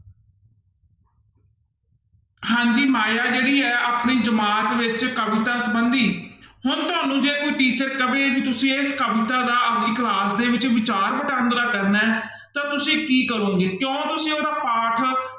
ਹਾਂਜੀ ਮਾਇਆ ਜਿਹੜੀ ਆਪਣੀ ਜਮਾਤ ਵਿੱਚ ਕਵਿਤਾ ਸੰਬੰਧੀ ਹੁਣ ਤੁਹਾਨੂੰ ਜੇ ਕੋਈ teacher ਕਵੇ ਵੀ ਤੁਸੀਂ ਇਸ ਕਵਿਤਾ ਦਾ ਆਪਦੀ class ਦੇ ਵਿੱਚ ਵਿਚਾਰ ਵਟਾਂਦਰਾ ਕਰਨਾ ਹੈ ਤਾਂ ਤੁਸੀਂ ਕਰੋਂਗੇ, ਕਿਉਂ ਤੁਸੀਂ ਉਹਦਾ ਪਾਠ